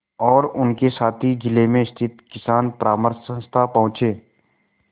और उनके साथी जिले में स्थित किसान परामर्श संस्था पहुँचे